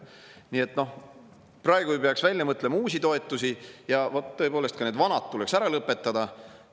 Nii et praegu ei peaks välja mõtlema uusi toetusi, ja tõepoolest, ka need vanad tuleks ära lõpetada.